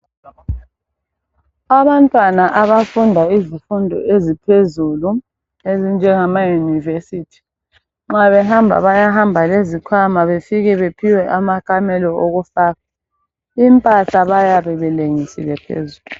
Abantwana abafunda izifundo eziphezulu ezinjengama university, Nxa behamba bahamba lezikhwama. Bafike baphiwe amakamelo okufaka. Impahla bayabe belengisile phezulu,